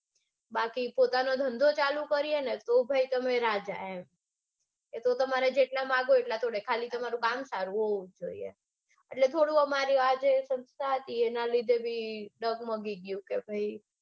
બાકી પોતાનો ધંધો ચાલુ કરીએ નેતો ભાઈ તમે રાજા એમ એતો તમારે જેટલા માંગોને એટલા તોડે ખાલી તમારું કામ સારું હોવું જોઈએ. એટલે થોડું અમારી આ જે સંસ્થા હતી એના લીધે બી ડગમગી ગયું.